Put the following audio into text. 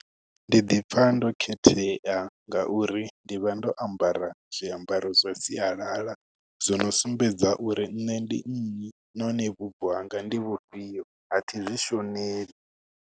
Ndi ḓi pfha ndo khethea, ngauri ndi vha ndo ambara zwiambaro zwa sialala. Zwo no sumbedza uri nne ndi nnyi, nahone vhubvo hanga ndi vhu fhio. A thi zwi shoneli.